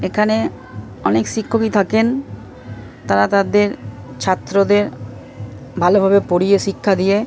এখানে অনেক শিক্ষকই থাকেন তারা তাদের ছাত্রদের ভালোভাবে পড়িয়ে শিক্ষা দিয়ে--